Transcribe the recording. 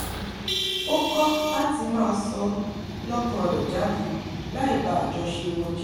ó kọ́ láti máa sọ lọ́kàn rẹ̀ jáde láì ba àjọṣe wọn jẹ́